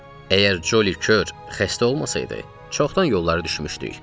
Əgər Colly kör xəstə olmasaydı, çoxdan yollara düşmüşdük.